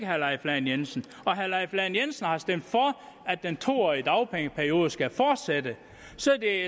herre leif lahn jensen herre leif lahn jensen har stemt for at den to årige dagpengeperiode skal fortsætte så kan